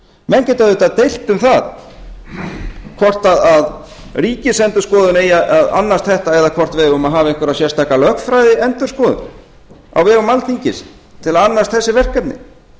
menn geta auðvitað deilt um það hvort ríkisendurskoðun eigi að annast þetta eða hvort við eigum að hafa einhverja sérstaka lögfræðiendurskoðun á vegum alþingis til að annast þessi verkefni